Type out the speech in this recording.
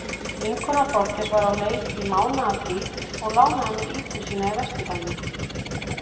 Vinkona Þorgeirs var á leið í mánaðarfrí og lánaði mér íbúð sína í vesturbænum.